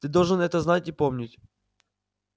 ты должен это знать и помнить